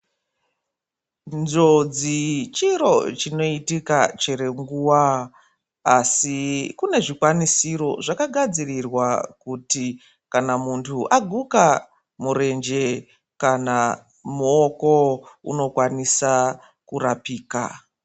Njodzi chiro chinoitika chero nguwa asi kune zvikwanisiro zvakagadzirirwa kuti kana muntu aguma murenje kana muoko unokwanisa kurapika.